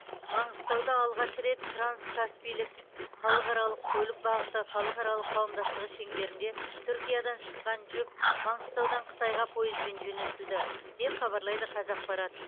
маңғыстауда алғаш рет транскаспийлік халықаралық көлік бағыты халықаралық қауымдастығы шеңберінде түркиядан шыққан жүк маңғыстаудан қытайға пойызбен жөнелтілді деп хабарлайды қазақпарат